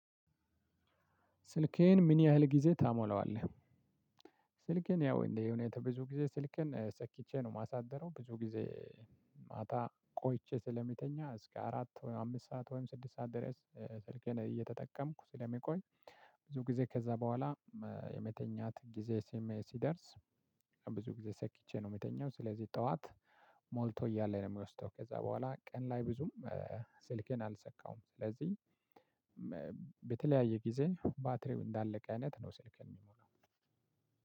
ስልኬን ምን ያህል ጊዜ ታሞላዋለህ? ስልኬን ያው እንዴየ ሁኔታ ብዙ ጊዜ ስልኬን ሰክቼ ነው ማሳደረው ብዙ ጊዜ ዜ ማታ ቆይቼ ስለሚተኛ እስከ አራት አምስት ሰዓት ወይም ስድስት ሰዓት ድረስ እ ስልኬን እየተጠቀምኩ ስለምቆይ። ብዙ ጊዜ ከዛ በኋላ መ የመተኛት ጊዜ ስሜ ሲደርስ ብዙ ጊዜ ሰኪቼ ነው የምተኛው። ስለዚህ ጠዋት ሞልቶ እያለ ነው ሚወስደው። ከዛ በኋላ ቀን ላይ ብዙም እ እ ስልኬን አልሰካውም ስለዚህ መ በተለያየ ጊዜ ባትሪው እንዳለቀ አይነት ነው። ስልክን